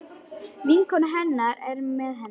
Vinkona hennar er með henni.